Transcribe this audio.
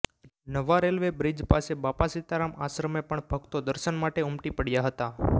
નવા railway bridge પાસે બાપા સીતારામ આશ્રમે પણ ભક્તો દર્શન માટે ઉમટી પડયા હતા